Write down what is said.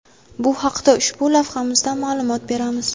Bu haqda ushbu lavhamizda ma’lumot beramiz.